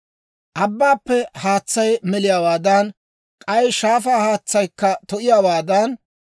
Abbaappe haatsay meliyaawaadan, k'ay shaafaa haatsaykka to'iyaawaadan,